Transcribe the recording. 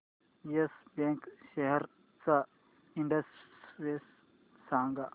yes bank shares चा index सांगा